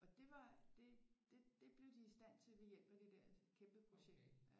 Og det var det det blev de i stand til ved hjælp af det dér kæmpe projekt